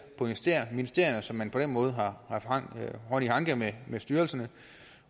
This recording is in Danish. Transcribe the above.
på ministerierne så man på den måde har hånd i hanke med styrelserne